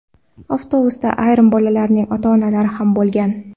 Avtobusda ayrim bolalarning ota-onalari ham bo‘lgan.